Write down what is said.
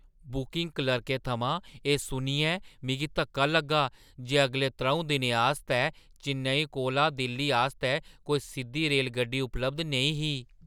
Booking क्लर्कै थमां एह् सुनियै मिगी धक्का लग्गा जे अगले त्र'ऊं दिनें आस्तै चेन्नई कोला दिल्ली आस्तै कोई सिद्धी रेलगड्डी उपलब्ध नेईं ही।